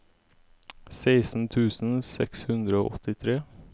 seksten tusen seks hundre og åttitre